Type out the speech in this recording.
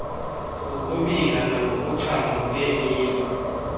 ngokubila nangokuchama ngeemini